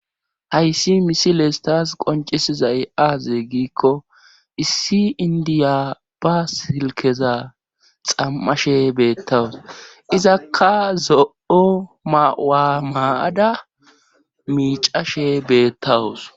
Hayssi misiles taas qoncisizay aaze giikko issi indiya ba silkeza xammashe beettawus izakka zo7o mawa maada miicashe beettawus